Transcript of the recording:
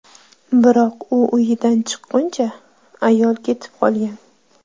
Biroq u uyidan chiqquncha, ayol ketib qolgan.